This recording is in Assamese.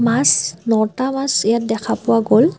মাছ নটা মাছ ইয়াত দেখা পোৱা গল।